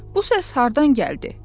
Bu səs hardan gəldi?